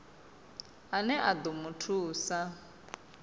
ane a ḓo mu thusa